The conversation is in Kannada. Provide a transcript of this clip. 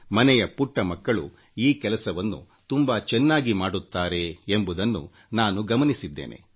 ಮನೆಯ ಪುಟ್ಟ ಮಕ್ಕಳು ಈ ಕೆಲಸವನ್ನು ತುಂಬಾ ಚೆನ್ನಾಗಿ ಮಾಡುತ್ತಾರೆ ಎಂಬುದನ್ನು ನಾನು ಗಮನಿಸಿದ್ದೇನೆ